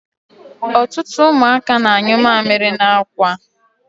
Ọtụtụ ụmụaka na-anyụ mamịrị n'akwa.